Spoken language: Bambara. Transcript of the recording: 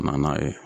Ka na n'a ye